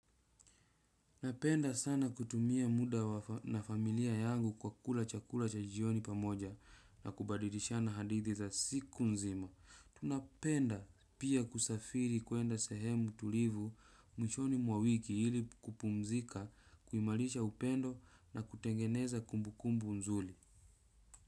Napenda sana kutumia muda wa na familia yangu kwa kula chakula cha jioni pamoja na kubadilishana hadithi za siku nzima. Tunapenda pia kusafiri kuenda sehemu tulivu mwishoni mwa wiki ili kupumzika, kuimalisha upendo na kutengeneza kumbukumbu nzuli.